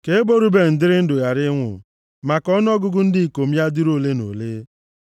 “Ka ebo Ruben dịrị ndụ ghara ịnwụ, ma ka ọnụọgụgụ ndị ikom ya dịrị ole na ole.”